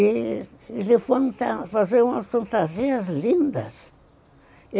E eles foram fazer umas fantasias lindas.